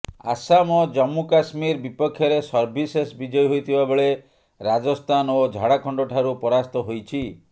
ଆସାମ ଓ ଜମ୍ମୁକାଶ୍ମୀର ବିପକ୍ଷରେ ସର୍ଭିସେସ୍ ବିଜୟୀ ହୋଇଥିବା ବେଳେ ରାଜସ୍ଥାନ ଓ ଝାଡ଼ଖଣ୍ଡଠାରୁ ପରାସ୍ତ ହୋଇଛି